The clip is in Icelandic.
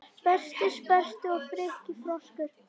Berti sperrti og Frikki froskur